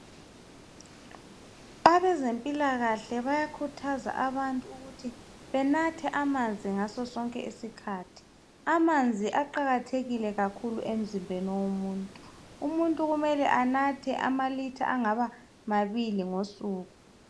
Abezempilakahle bayakhuthaza abantu ukuthi benathe amanzi ngasosonke isikhathi. Amanzi aqakathekile kakhulu emzimbeni womuntu. Umuntu kumele anathe amalitha angabamabili ngosuku.